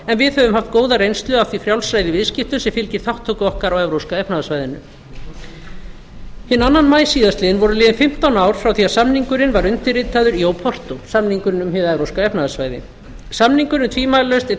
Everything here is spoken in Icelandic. en við höfum haft góða reynslu af því frjálsræði í viðskiptum sem fylgir þátttöku okkar á evrópska efnahagssvæðinu hinn annan maí síðastliðinn voru liðin fimmtán ár frá því að samningurinn var undirritaður í óportó samningurinn um hið evrópska efnahagssvæði samningurinn er tvímælalaust einn